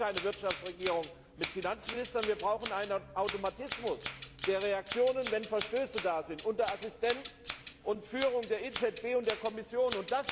Wir brauchen keine Wirtschaftsregierung mit Finanzministern, wir brauchen einen Automatismus, der Reaktionen auslöst, wenn es zu Verstößen kommt, unter Assistenz und Führung der EZB und der Kommission.